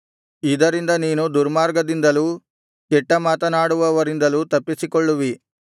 ಇದರಿಂದ ನೀನು ದುರ್ಮಾರ್ಗದಿಂದಲೂ ಕೆಟ್ಟ ಮಾತನಾಡುವವರಿಂದಲೂ ತಪ್ಪಿಸಿಕೊಳ್ಳುವಿ